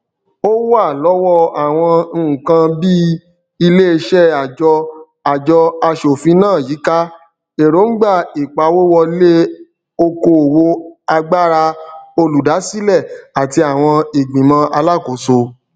ó wà lọwọ àwọn nnkn bí i iléeṣẹàjọ ajọasòfinàyíká èròngbàìpawówọléokòòwò agbára olùdásílẹ àti àwọn ìgbìmọ alákoso